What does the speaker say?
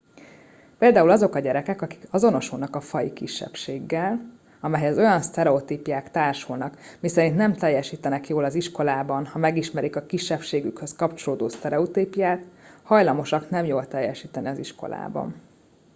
például azok a gyerekek akik azonosulnak egy faji kisebbséggel amelyhez olyan sztereotípiák társulnak miszerint nem teljesítenek jól az iskolában ha megismerik a kisebbségükhöz kapcsolódó sztereotípiát hajlamosak nem jól teljesíteni az iskolában